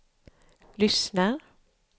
lyssnar